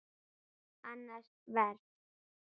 Annað vers.